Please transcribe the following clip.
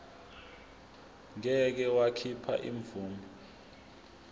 ngeke wakhipha imvume